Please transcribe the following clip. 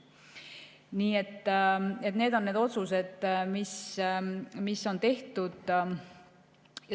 Nii et need on need otsused, mis on tehtud.